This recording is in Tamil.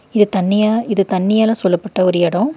இது தண்ணியா இது தண்ணியால சூழப்பட்ட ஒரு எடோ.